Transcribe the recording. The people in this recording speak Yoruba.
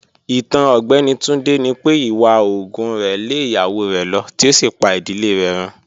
Itan Ọgbẹni Tunde ni pe iwa oògùn rẹ le iyawo rẹ lọ ti o si pa idile rẹ run.